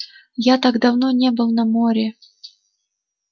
я так давно не был на море